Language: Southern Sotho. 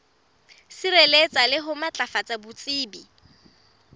sireletsa le ho matlafatsa botsebi